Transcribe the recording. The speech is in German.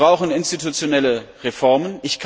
Wir brauchen institutionelle Reformen.